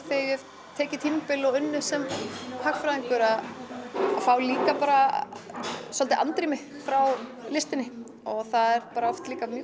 ég hef tekið tímabil og unnið sem hagfræðingur að fá líka bara svolítið andrými frá listinni það er bara oft líka mjög